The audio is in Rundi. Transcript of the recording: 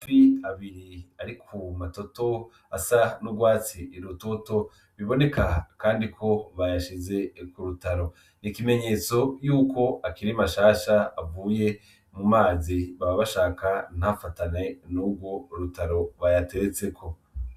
Amafi abiri ari ku matoto asa n'utwatsi rutoto biboneka kandi ko bayashize k'urutaro. n'ikimenyetso yuko akiri mashasha avuye mu mazi baba bashaka nta fatane nurwo rutaro bayateretseko.